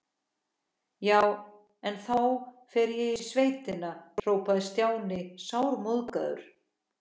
Já, en þá fer ég í sveitina hrópaði Stjáni sármóðgaður.